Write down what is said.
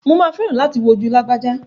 Mà á fẹ́ràn láti wò ojú lágbájá.